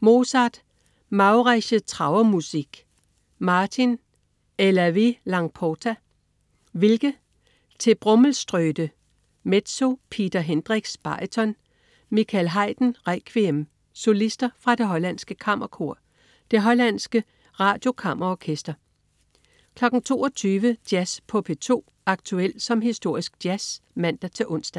Mozart: Maureische Trauermusik. Martin: El la vie l'emporta. Willke te Brummelstroete, mezzo. Pieter Hendriks, baryton. Michael Haydn: Requiem. Solister fra Det hollandske Kammerkor. Det hollandske Radiokammerorkester 22.00 Jazz på P2. Aktuel som historisk jazz (man-ons)